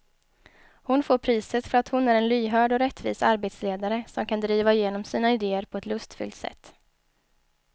Hon får priset för att hon är en lyhörd och rättvis arbetsledare som kan driva igenom sina idéer på ett lustfyllt sätt.